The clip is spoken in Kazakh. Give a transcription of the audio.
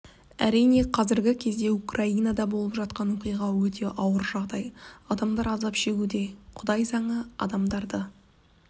әрине қазіргі кезде украинада болып жатқан оқиға өте ауыр жағдай адамдар азап шегуде құдай заңы адамдарды